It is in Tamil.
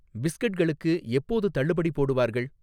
பிஸ்கட்களுக்கு எப்போது தள்ளுபடி போடுவார்கள்?